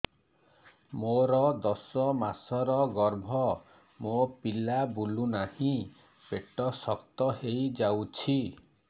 ମୋର ଦଶ ମାସର ଗର୍ଭ ମୋ ପିଲା ବୁଲୁ ନାହିଁ ପେଟ ଶକ୍ତ ହେଇଯାଉଛି